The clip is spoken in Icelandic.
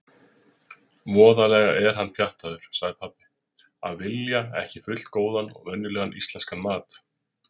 Voðalega er hann pjattaður, sagði pabbi: Að vilja ekki fullgóðan og venjulegan íslenskan mat.